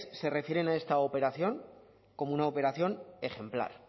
se refieren a esta operación como una operación ejemplar